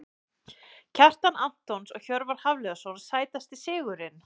Kjartan Antons og Hjörvar Hafliðason Sætasti sigurinn?